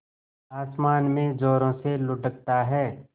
आसमान में ज़ोरों से लुढ़कता है